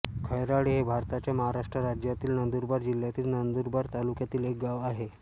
खैराळे हे भारताच्या महाराष्ट्र राज्यातील नंदुरबार जिल्ह्यातील नंदुरबार तालुक्यातील एक गाव आहे